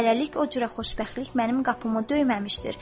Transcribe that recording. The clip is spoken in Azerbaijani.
Hələlik o cürə xoşbəxtlik mənim qapımı döyməmişdir.